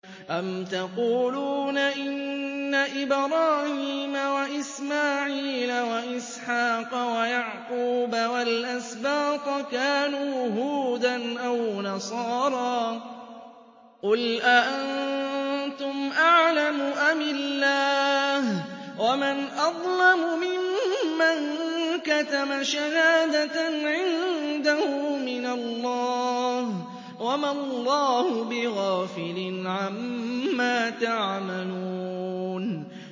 أَمْ تَقُولُونَ إِنَّ إِبْرَاهِيمَ وَإِسْمَاعِيلَ وَإِسْحَاقَ وَيَعْقُوبَ وَالْأَسْبَاطَ كَانُوا هُودًا أَوْ نَصَارَىٰ ۗ قُلْ أَأَنتُمْ أَعْلَمُ أَمِ اللَّهُ ۗ وَمَنْ أَظْلَمُ مِمَّن كَتَمَ شَهَادَةً عِندَهُ مِنَ اللَّهِ ۗ وَمَا اللَّهُ بِغَافِلٍ عَمَّا تَعْمَلُونَ